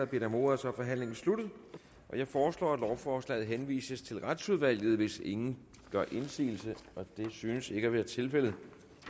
bedt om ordet er forhandlingen sluttet jeg foreslår at lovforslaget henvises til retsudvalget hvis ingen gør indsigelse og det synes ikke at være tilfældet